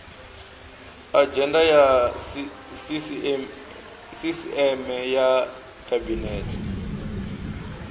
adzhenda ya sisieme ya khabinete